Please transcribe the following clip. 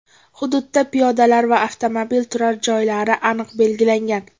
Hududda piyodalar va avtomobil turar joylari aniq belgilangan.